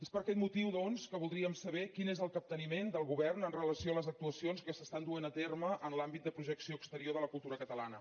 és per aquest motiu doncs que voldríem saber quin és el capteniment del govern amb relació a les actuacions que es duen a terme en l’àmbit de projecció exterior de la cultura catalana